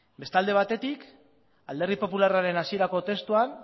bestalde batetik alderdi popularraren hasierako testuan